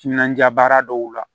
Timinandiya baara dɔw la